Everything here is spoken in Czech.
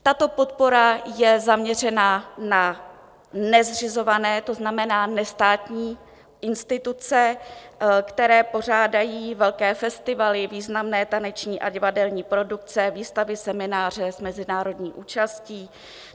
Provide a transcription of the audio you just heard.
Tato podpora je zaměřena na nezřizované, to znamená nestátní instituce, které pořádají velké festivaly, významné taneční a divadelní produkce, výstavy, semináře s mezinárodní účastí.